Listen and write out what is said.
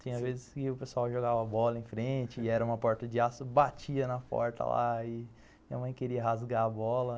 Tinha vezes que o pessoal jogava bola em frente e era uma porta de aço, batia na porta lá e minha mãe queria rasgar a bola.